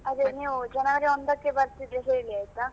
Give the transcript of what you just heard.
ಅದೆ ನೀವು ಜನವರಿ ಒಂದಕ್ಕೆ ಬರ್ತಿದ್ರೆ ಹೇಳಿ ಆಯ್ತಾ.